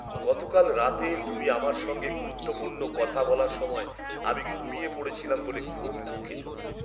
গতকাল রাতে তুমি আমার সঙ্গে গুরুত্বপূর্ণ কথা বলার সময় আমি ঘুমিয়ে পড়েছিলাম বলে খুব দুঃখিত।